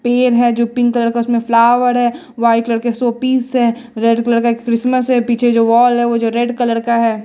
पेड़ है जो पिंक कलर का उसमें फ्लावर है वाई कलर के शोपीस है रेड कलर का एक क्रिसमस है पीछे जो वॉल है वो जो रेड कलर का है।